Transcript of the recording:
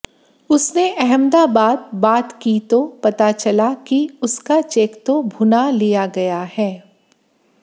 उसने अहमदाबाद बात की तो पता चला कि उसका चेक तो भुना लिया गया है